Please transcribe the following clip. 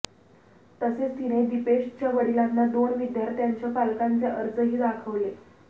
तसेच तिने दीपेशच्या वडिलांना दोन विद्यार्थ्यांच्या पालकांचे अर्जही दाखवले